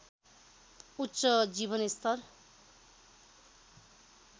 उच्च जीवनस्तर